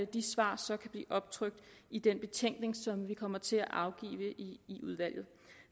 de svar så kan blive optrykt i den betænkning som vi kommer til at afgive i udvalget